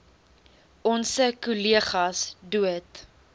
onse kollegas dood